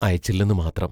അയച്ചില്ലെന്ന് മാത്രം.